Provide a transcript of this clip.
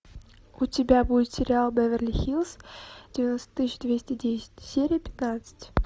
у тебя будет сериал беверли хиллз девяносто тысяч двести десять серия пятнадцать